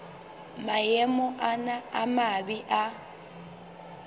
maemo ana a mabe a